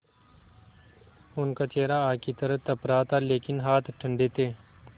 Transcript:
उनका चेहरा आग की तरह तप रहा था लेकिन हाथ ठंडे थे